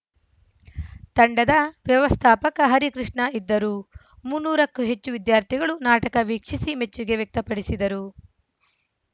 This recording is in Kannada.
ತಂಡದ ವ್ಯವಸ್ಥಾಪಕ ಹರಿಕೃಷ್ಣ ಇದ್ದರು ಮುನ್ನೂರ ಕ್ಕೂ ಹೆಚ್ಚು ವಿದ್ಯಾರ್ಥಿಗಳು ನಾಟಕ ವೀಕ್ಷಿಸಿ ಮೆಚ್ಚುಗೆ ವ್ಯಕ್ತಪಡಿಸಿದರು